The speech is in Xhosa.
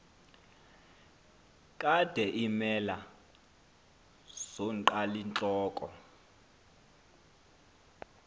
kade iimela zonqalintloko